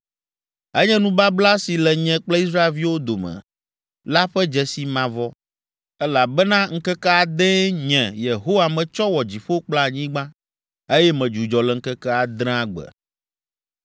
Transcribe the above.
Enye nubabla si le nye kple Israelviwo dome la ƒe dzesi mavɔ, elabena ŋkeke adee nye, Yehowa metsɔ wɔ dziƒo kple anyigba, eye medzudzɔ le ŋkeke adrea gbe.”